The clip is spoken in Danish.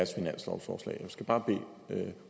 finanslovsforslag jeg skal bare bede